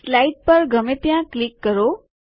slide પર ગમે ત્યાં ક્લિક કરો